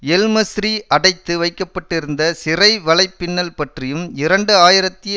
எல்மஸ்ரி அடைத்து வைக்க பட்டிருந்த சிறை வலைப்பின்னல் பற்றியும் இரண்டு ஆயிரத்தி